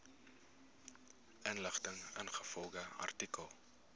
inligting ingevolge artikel